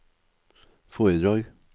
foredrag